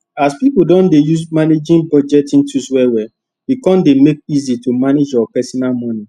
as pipu don dey use managing budgeting tools well well e kon dey make easy to manage your personal moni